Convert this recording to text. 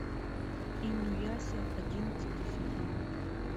инуяся одиннадцатый сезон